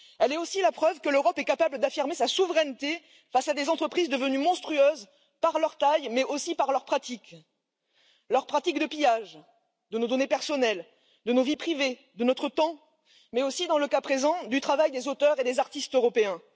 Elle est aussi la preuve que l'Europe est capable d'affirmer sa souveraineté face à des entreprises devenues monstrueuses par leur taille, mais aussi par leurs pratiques de pillage de nos données personnelles, de nos vies privées, de notre temps, mais aussi, dans le cas présent, du travail des auteurs et des artistes européens.